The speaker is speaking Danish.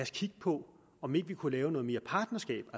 kigge på om ikke vi kunne lave noget mere partnerskab